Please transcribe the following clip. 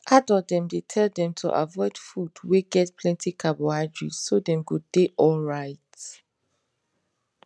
adult dem dey tell them to avoid food wey get plenty carbohydrate so dem go dey alright